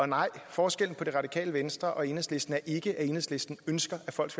nej forskellen på det radikale venstre og enhedslisten er ikke at enhedslisten ønsker at folk